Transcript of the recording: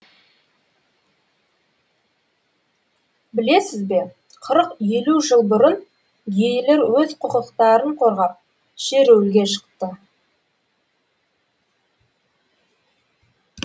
білесіз бе қырық елу жыл бұрын гейлер өз құқықтарын қорғап шеруілге шықты